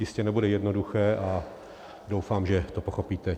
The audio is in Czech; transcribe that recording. Jistě nebude jednoduché a doufám, že to pochopíte.